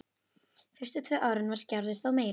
Fyrstu tvö árin var Gerður þó meira með.